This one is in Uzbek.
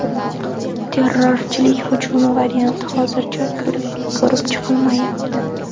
Terrorchilik hujumi varianti hozircha ko‘rib chiqilmayapti.